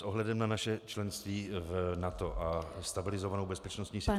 S ohledem na naše členství v NATO a stabilizovanou bezpečnostní situací -